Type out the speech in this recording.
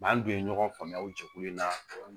an dun ye ɲɔgɔn faamuya o jɛkulu in na